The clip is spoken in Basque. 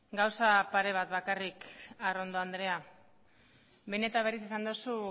gauza pare bat bakarrik arrondo andrea behin eta berriz esan duzu